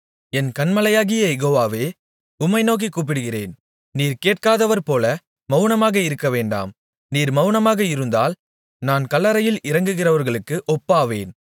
என் கன்மலையாகிய யெகோவாவே உம்மை நோக்கிக் கூப்பிடுகிறேன் நீர் கேட்காதவர்போல மவுனமாக இருக்கவேண்டாம் நீர் மவுனமாக இருந்தால் நான் கல்லறையில் இறங்குகிறவர்களுக்கு ஒப்பாவேன்